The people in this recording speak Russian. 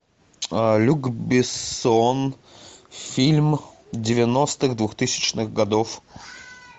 люк бессон фильм девяностых двухтысячных годов